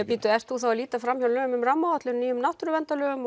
bíddu ert þú þá að líta lögum um rammaáætlun nýjum náttúruverndarlögum